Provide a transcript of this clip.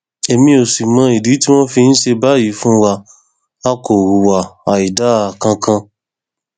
èmi ò sì mọ ìdí tí wọn fi ń ṣe báyìí fún wa a kò hùwà àìdáa kankan